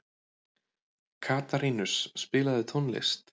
Katarínus, spilaðu tónlist.